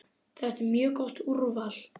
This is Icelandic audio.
Þetta er mjög gott úrval.